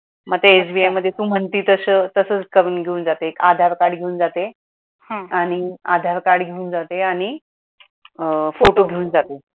मग ते SBI मध्ये तू म्हणती तसं तसाच करून घेऊन जाते, आधार card घेऊन जाते आणि आधार card घेऊन जाते आणि अं photo घेऊन जाते.